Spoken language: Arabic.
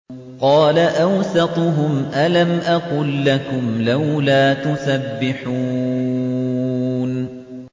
قَالَ أَوْسَطُهُمْ أَلَمْ أَقُل لَّكُمْ لَوْلَا تُسَبِّحُونَ